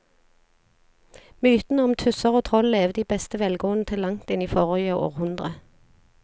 Mytene om tusser og troll levde i beste velgående til langt inn i forrige århundre.